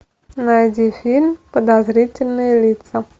найди фильм подозрительные лица